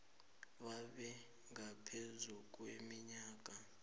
babe ngaphezu kweminyaka